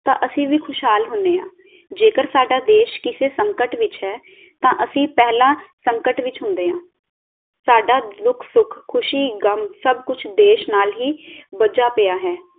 ਤਾਂ ਅਸੀਂ ਵੀ ਖੁਸ਼ਹਾਲ ਹੁੰਨੇ ਆ ਜੇਕਰ ਸਾਡਾ ਦੇਸ਼ ਕਿਸੇ ਸੰਕਟ ਵਿਚ ਹੈ, ਤਾਂ ਅਸੀਂ ਪਹਿਲਾਂ ਸੰਕਟ ਵਿਚ ਹੁੰਦੇ ਹਾਂ ਸਾਡਾ ਦੁੱਖ-ਸੁਖ, ਖੁਸ਼ੀ-ਗ਼ਮ ਸਬ ਕੁਛ ਦੇਸ਼ ਨਾਲ ਹੀ ਬੱਜਾ ਪਿਆ ਹੈ